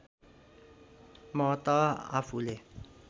म त आफूले